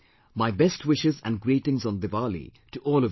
My best wishes and greetings on Diwali to all of you